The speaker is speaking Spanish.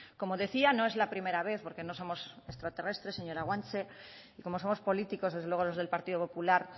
como decía no es la primera vez porque no somos extraterrestres señora guanche y como somos políticos desde luego los del partido popular